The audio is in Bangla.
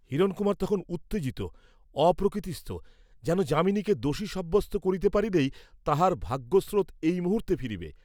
হিরণকুমার তখন উত্তেজিত, অপ্রকৃতিস্থ; যেন যামিনীকে দোষী সাব্যস্ত করিতে পারিলেই তাঁহার ভাগ্যস্রোত এই মুহূর্ত্তে ফিরিবে।